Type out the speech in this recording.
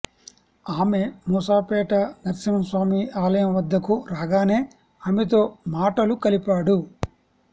ఆమె మూసాపేట నర్సింహస్వామి ఆలయం వద్దకు రాగానే ఆమెతో మాటలు కలిపాడు